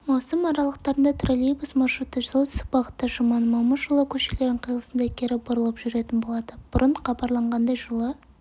маусым аралықтарында троллейбус маршруты солтүстік бағытта жұманов-момышұлы көшелерінің қиылысында кері бұрылып жүретін болады бұрын хабарланғандай жылы